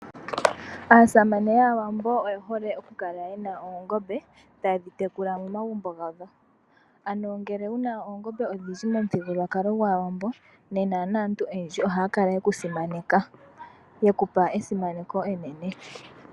Aasamane yAawambo oye hole oku kala yena oongombe taye dhi tekula momagumbo gawo. Ano ngele wuna oongombe odhindji momuthigululwakalo gwAawambo nena naantu oyendji ohaya kala yeku simaneka. Ye kupa esimaneko enene.